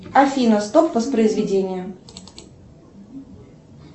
афина стоп воспроизведение